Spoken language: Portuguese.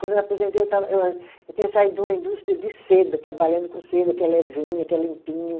Quando eu aposentei, eu estava eu a, eu tinha saído de uma indústria de seda, trabalhando com seda, que é levinha, que é limpinho.